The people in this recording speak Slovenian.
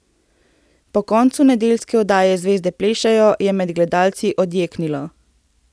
Po koncu nedeljske oddaje Zvezde plešejo je med gledalci odjeknilo.